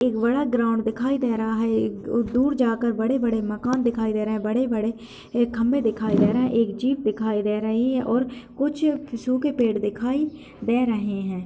एक बड़ा सा ग्राउंड दिखाई दे रहा है। एक अ दूर जाकर बड़े-बड़े मकान दिखाई दे रहे हैं। बड़े-बड़े ए खंभें दिखाई दे रहे हैं। एक जीप दिखाई दे रही है और कुछ सूखे पेड़ दिखाई दे रहे हैं।